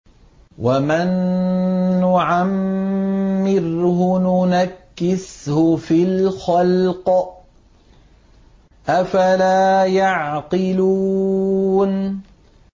وَمَن نُّعَمِّرْهُ نُنَكِّسْهُ فِي الْخَلْقِ ۖ أَفَلَا يَعْقِلُونَ